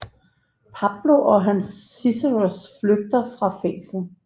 Pablo og hans sicarios flygter fra fængslet